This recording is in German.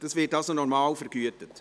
Das wird normal vergütet.